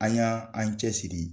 An y' an cɛ siri.